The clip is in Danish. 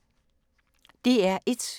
DR1